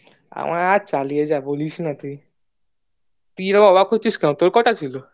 আমার আর চালিয়ে যা বলিস না তুই তুই এত অবাক হচ্ছিস কেন তোর কটা ছিল